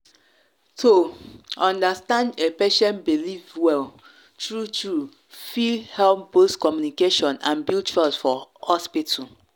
to understand a patient belief well true-true fit help boost communication and build trust for hospital.